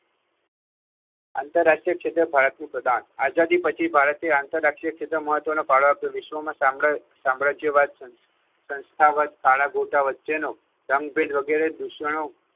આંતરરાષ્ટ્રીય ક્ષેત્રે ભારતનું પ્રદાન આઝાદી પછી ભારતે આંતરરાષ્ટ્રીય ક્ષેત્રે મહત્ત્વનો ફાળો આપ્યો વિશ્વમાં સામ્રાજ્ય સામ્રાજ્યવાદ સંસ્થા વચ્ચે વચ્ચેનો રંગભેદ વગેરે દુષણો